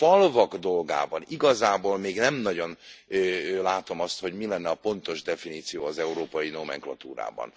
A falvak dolgában igazából még nem nagyon látom, hogy mi lenne a pontos definíció az európai nómenklatúrában.